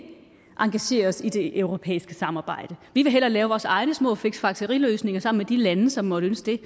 engagere os i det europæiske samarbejde vi vil hellere lave vores egne små fiksfakseriløsninger sammen med de lande som måtte ønske